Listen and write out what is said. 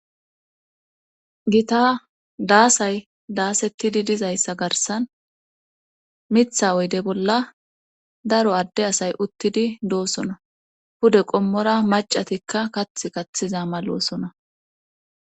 gita daasay daasettidi dizayssa garsan mitha oyde bolla daro adde asay uttidi doosona pude qommora macatikka kath kathiza maloosona